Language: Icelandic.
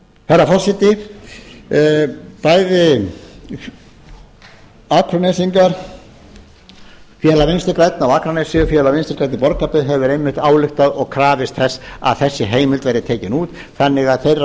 herra forseti bæði akranesingar félag vinstri grænna á akranesi og félag vinstri grænna í borgarfirði hefur einmitt ályktað og krafist þess að þessi heimild verði tekin út þannig að þeirra